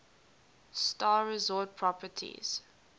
star resort properties